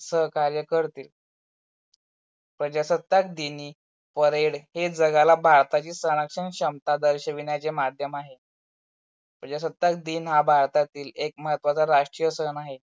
सहकार्य करतील. प्रजास्ताक दिनी parade हे जगाला भारताची सरासर क्षमता दर्शिविण्याचे मध्यम आहे. प्रजास्ताक दिन हा भारतातील एक महत्वाचा राष्टीय सण आहे.